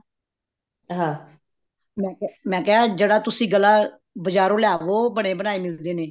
ਹਾਂ ਮੈਂ ਕਿਹਾ ਜਿਹੜਾ ਤੁਸੀਂ ਗਲਾ ਬਜਾਰੋਂ ਲਿਆਵੋ ਬਣੇ ਬਣਾਏ ਮਿਲਦੇ ਨੇ